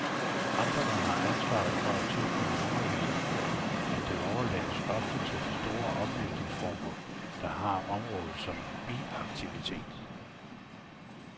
Amterne har ansvaret for at tilbyde undervisning, men det overlades ofte til de store oplysningsforbund, der har området som biaktivitet.